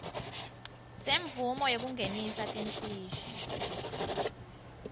semvumo yekungenisa timfishi